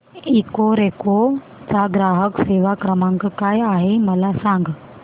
Ecoreco चा ग्राहक सेवा क्रमांक काय आहे मला सांग